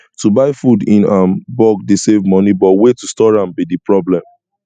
to buy food in um bulk dey save money but way to store am be di problem